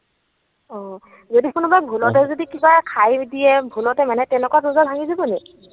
অ। যদি কোনোবাই ভূলতে যদি কিবা খাই দিয়ে, ভূলতে মানে, তেনেকুৱাত ৰোজা ভাঙি যাব নেকি?